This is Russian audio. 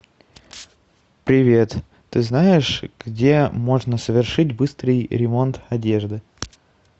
привет ты знаешь где можно совершить быстрый ремонт одежды